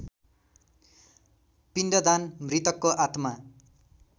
पिण्डदान मृतकको आत्मा